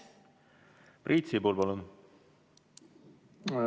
Priit Sibul, palun!